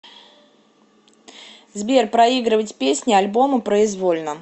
сбер проигрывать песни альбома произвольно